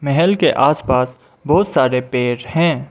महल के आसपास बहुत सारे पेड़ हैं।